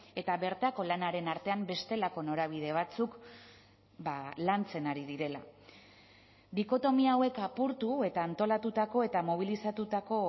eta bertako lanaren artean bestelako norabide batzuk lantzen ari direla dikotomia hauek apurtu eta antolatutako eta mobilizatutako